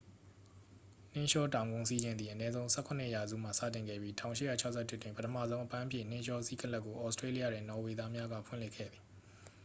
နှင်းလျှောတောင်ကုန်းစီးခြင်းသည် အနည်းဆုံး 17 ရာစုမှစတင်ခဲ့ပြီး 1861 တွင် ပထမဆုံး အပန်းဖြေနှင်းလျှောစီးကလပ်ကို ဩစတေးလျတွင် နော်ဝေသားများက ဖွင့်လှစ်ခဲ့သည်